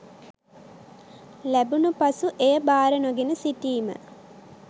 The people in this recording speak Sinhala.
ලැබුණු පසු එය බාර නොගෙන සිටිම